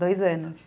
Dois anos.